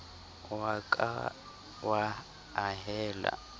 o a ka wa ahela